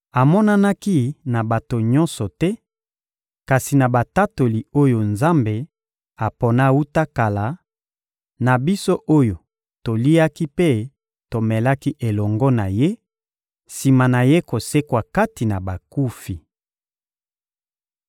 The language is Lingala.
Amonanaki na bato nyonso te, kasi na batatoli oyo Nzambe apona wuta kala, na biso oyo toliaki mpe tomelaki elongo na Ye, sima na Ye kosekwa kati na bakufi.